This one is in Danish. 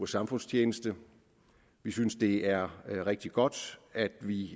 samfundstjeneste vi synes det er rigtig godt at vi